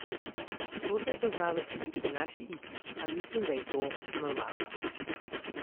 To se je poznalo tudi pri naši igri, a mislim, da je to normalno.